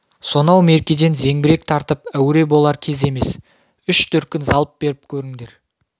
сонау меркеден зеңбірек тартып әуре болар кез емес үш дүркін залп беріп көріңдер